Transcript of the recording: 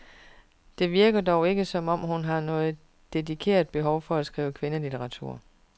Det virker dog ikke som om, hun har noget dedikeret behov for at skrive kvindelitteratur.